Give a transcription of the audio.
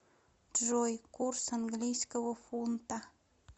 джой курс английского фунта